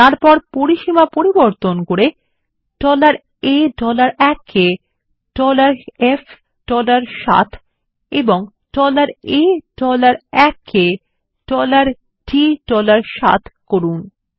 এবং তারপর পরিসীমা পরিবর্তন করে A 1 কে SF7 এবং A 1 কে D 7 করুন